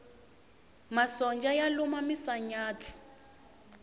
masonja ya luma misanyatsi